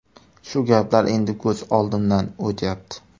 Shu gaplar endi ko‘z oldimdan o‘tyapti.